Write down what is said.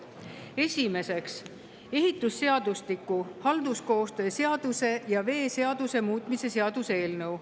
Esimeseks, ehitusseadustiku, halduskoostöö seaduse ja veeseaduse muutmise seaduse eelnõu.